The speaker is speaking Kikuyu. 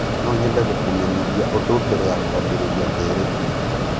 No nyende gũkũmenyithia ũndũ mbere ya kwambĩrĩria ndeereti itũ.